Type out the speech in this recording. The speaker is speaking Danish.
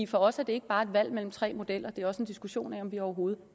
for os er det ikke bare et valg mellem tre modeller det er også en diskussion af om vi overhovedet